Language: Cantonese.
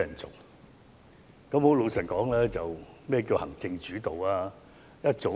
坦白說，何謂行政主導呢？